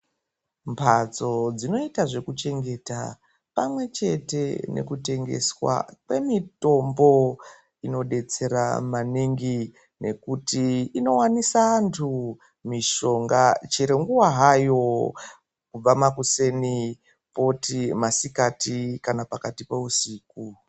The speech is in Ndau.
Mbatso dzinoita zvekuchengeta pamwe chete nekutengeswa kwemitombo dzinobetsera maningi nekuti inonwaisa vantu mishonga chero nguwa hayo kubva makuseni toti masikati.